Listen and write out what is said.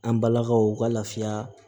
An balakaw ka lafiya